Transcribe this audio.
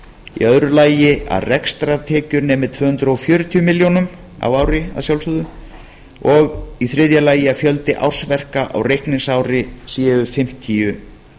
í öðru lagi að rekstrartekjur nemi tvö hundruð fjörutíu milljónum á ári að sjálfsögðu og í þriðja lagi að fjöldi ársverka á reikningsári séu